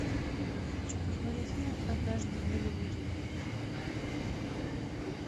хочу посмотреть фильм однажды в голливуде